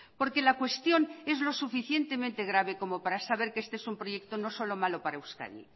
porque la cuestión es lo suficientemente grave como para saber que este es un proyecto no solo malo para euskadi